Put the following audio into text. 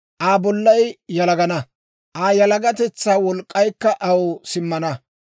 Aa bollay yalagana; Aa yalagatetsaa wolk'k'aykka aw simmana.